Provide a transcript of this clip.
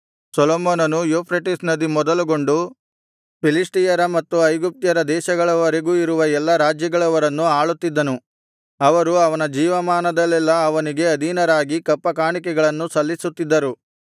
ಸೊಲೊಮೋನನು ಯೂಫ್ರೆಟಿಸ್ ನದಿ ಮೊದಲುಗೊಂಡು ಫಿಲಿಷ್ಟಿಯರ ಮತ್ತು ಐಗುಪ್ತ್ಯರ ದೇಶಗಳವರೆಗೂ ಇರುವ ಎಲ್ಲಾ ರಾಜ್ಯಗಳವರನ್ನು ಆಳುತ್ತಿದ್ದನು ಅವರು ಅವನ ಜೀವಮಾನದಲ್ಲೆಲ್ಲಾ ಅವನಿಗೆ ಅಧೀನರಾಗಿ ಕಪ್ಪಕಾಣಿಕೆಗಳನ್ನು ಸಲ್ಲಿಸುತ್ತಿದ್ದರು